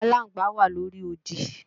Aláǹgbá wà lóri odi